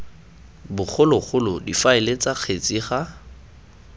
bogologolo difaele ts kgetse ga